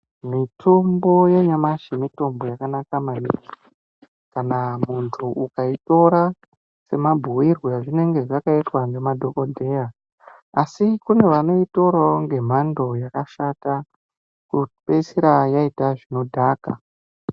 Mutombo yanyamashi mutombo yakanaka maningi kana muntu ukaitora semabhuirwe azvinenge azvakaitwa ngemadhokodheya asi kune vanoitorawo ngemhando yakashata kupeisira yaita zvinodhaka.